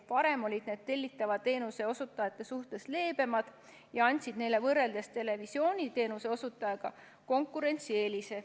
Varem olid need tellitava teenuse osutajate suhtes leebemad ja andsid neile võrreldes televisiooniteenuse osutajaga konkurentsieelise.